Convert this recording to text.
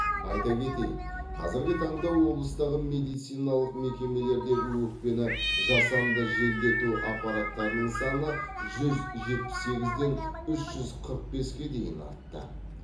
айта кетейік қазіргі таңда облыстағы медициналық мекемелердегі өкпені жасанды желдету аппараттарының саны жүз жетпіс сегізден үш жүз қырық беске дейін артты